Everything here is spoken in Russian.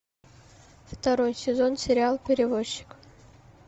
второй сезон сериал перевозчик